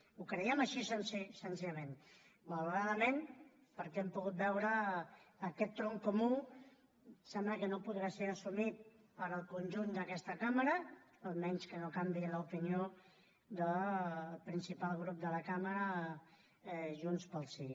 ho creiem així senzillament malauradament perquè hem pogut veure que aquest tronc comú sembla que no podà ser assumit pel conjunt d’aquesta cambra llevat que no canviï l’opinió del principal grup de la cambra junts pel sí